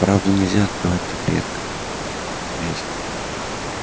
правду нельзя открывать так резко